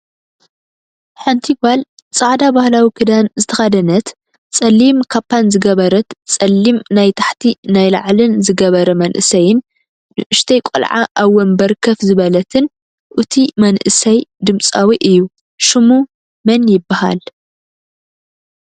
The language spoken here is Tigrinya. ሓንቲ ጎል ፃዕዳ ባህላዊ ክዳን ዝተከደነት ፀሊም ካፓንዝገበረትን ፀለም ናይ ታሕቲ ናይ ላዕልን ዘገበረ መንእሰይን ንእሽተይ ቆልዓ ኣብ ወንበር ከፍ ዝበለትን እቱይ መንእሰይ ድምፃዊ እዩ። ሽሙ መን ይብሃል?